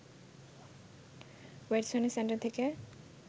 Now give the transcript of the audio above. ওয়েডসনের centre থেকে